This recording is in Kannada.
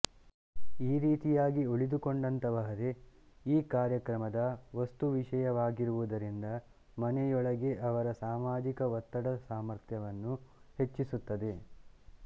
ಈ ರೀತಿಯಾಗಿ ಉಳಿದುಕೊಂಡಂತಹವರೇ ಈ ಕಾರ್ಯಕ್ರಮದ ವಸ್ತುವಿಷಯವಾಗಿರುವುದರಿಂದ ಮನೆಯೊಳಗೆ ಅವರ ಸಾಮಾಜಿಕ ಒತ್ತಡದ ಸಾಮರ್ಥ್ಯವನ್ನು ಹೆಚಿಸುತ್ತದೆ